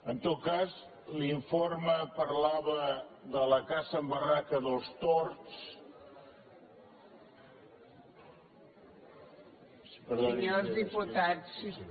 en tot cas l’informe parlava de la caça en barraca dels tords